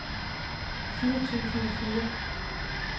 firs tusind og fire